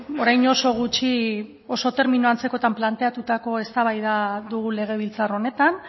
orain oso gutxi oso termino antzekoetan planteatutako eztabaida dugu legebiltzar honetan